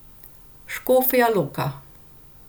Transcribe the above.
Škofja Loka.